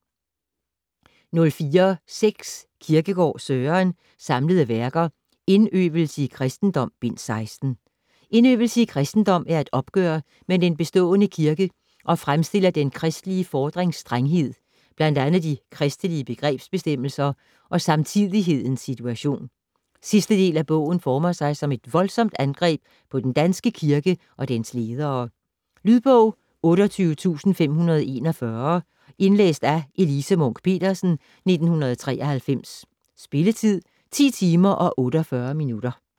04.6 Kierkegaard, Søren: Samlede Værker: Indøvelse i Christendom: Bind 16 "Indøvelse i Christendom" er et opgør med den bestående kirke og fremstiller den kristelige fordrings strenghed, bl.a. de kristelige begrebsbestemmelser og samtidighedens situation. Sidste del af bogen former sig som et voldsomt angreb på den danske kirke og dens ledere. Lydbog 28541 Indlæst af Elise Munch-Petersen, 1993. Spilletid: 10 timer, 48 minutter.